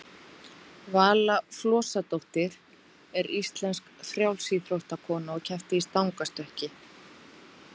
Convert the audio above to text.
vala flosadóttir er íslensk frjálsíþróttakona og keppti í stangarstökki